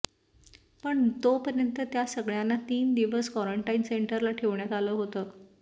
पण तोपर्यंत त्या सगळ्यांना तीन दिवस कॉरंन्टाइन सेंटरला ठेवण्यात आलं होतं